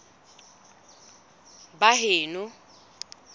baheno